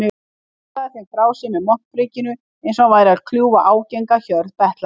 Hann bandaði þeim frá sér með montprikinu einsog hann væri að kljúfa ágenga hjörð betlara.